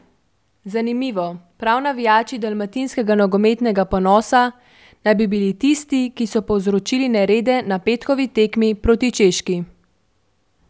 Zanimivo, prav navijači dalmatinskega nogometnega ponosa naj bi bili tisti, ki so povzročili nerede na petkovi tekmi proti Češki.